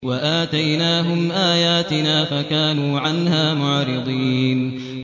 وَآتَيْنَاهُمْ آيَاتِنَا فَكَانُوا عَنْهَا مُعْرِضِينَ